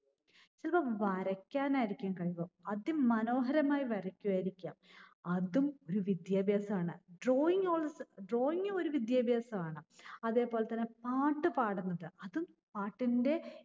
ചിലപ്പോൾ വരക്കാനായിരിക്കും കഴിവ്. അതിമനോഹരമായി വരക്കുകയായിരിക്കാം. അതും ഒരു വിദ്യാഭ്യാസം ആണ്. Drawing als drawing ഗും ഒരു വിദ്യാഭ്യാസം ആണ്. അതേ പോലെതന്നെ പാട്ട് പാടുന്നത്, അതും പാട്ടിന്റെ